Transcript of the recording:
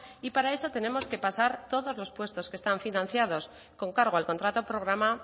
y para eso tenemos que pasar todos los puestos que están financiados con cargo al contrato programa